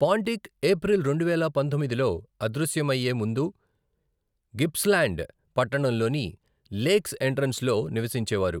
పాంటిక్ April రెండువేల పంతొమ్మిదిలో అదృశ్యమయ్యే ముందు గిప్స్ల్యాండ్ పట్టణంలోని లేక్స్ ఎంట్రన్స్లో నివసించేవారు.